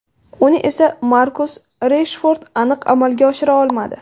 Uni esa Markus Reshford aniq amalga oshira olmadi.